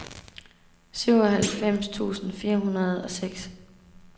syvoghalvfems tusind fire hundrede og seks